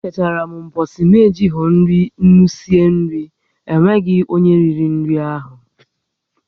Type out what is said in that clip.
E chetara m ụbọchị m ejighi ńnú sie nri, e nweghị onyé riri nri áhụ̀